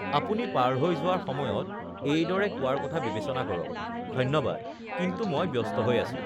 "আপুনি পাৰ হৈ যোৱাৰ সময়ত এইদৰে কোৱাৰ কথা বিবেচনা কৰক, ""ধন্যবাদ, কিন্তু মই ব্যস্ত হৈ আছোঁ!"""